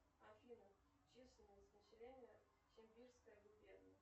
афина численность населения сибирская губерния